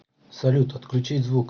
салют отключить звук